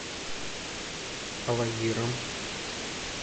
алагиром